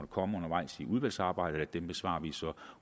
komme undervejs i udvalgsarbejdet bliver besvaret så